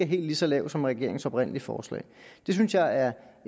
helt lige så lav som regeringens oprindelige forslag det synes jeg er